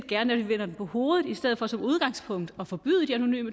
gerne at vi vender det på hovedet i stedet for som udgangspunkt at forbyde